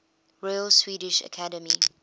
royal swedish academy